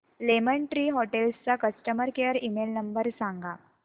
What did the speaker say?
lemon tree hotels चा customer care email number सांगा